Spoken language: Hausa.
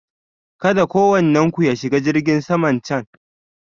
Kada kowannen ku ya shiga jirgin saman can!